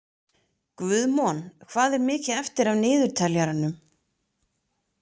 Guðmon, hvað er mikið eftir af niðurteljaranum?